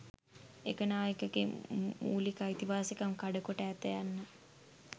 ඒකනායකගේ මූලික අයිතිවාසිකම් කඩ කොට ඇත යන්න